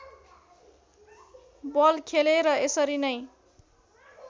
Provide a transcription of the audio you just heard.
बल खेले र यसरी नै